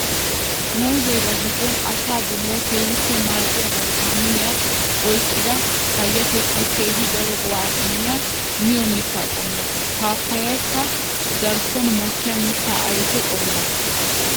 Muuze ba giddon asaa bolawu keehippe maadiya viitaminiya oyqqidda payatettawu keehi daro go'a immiya miyo mitta qommo. Paapayayikka darkkon mokkiya mitta ayfe qommo.